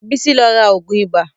Bisi lọ ra ògùn ibà